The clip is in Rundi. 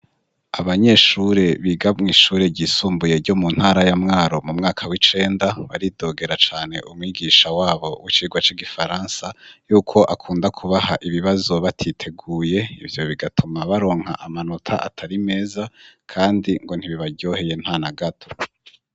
Abanyeshure bigamwa ishure ryisumbuye ryo mu ntara ya mwaro mu mwaka w'icenda baridogera cane umwigisha wabo w'icirwa c'igifaransa yuko akunda kubaha ibibazo batiteguye ivyo bigatuma baronka amanota atari meza, kandi ngo ntibibaryoheye nta na gato.